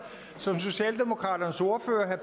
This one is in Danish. som socialdemokraternes ordfører